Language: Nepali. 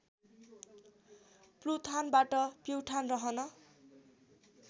प्लुथानबाट प्युठान रहन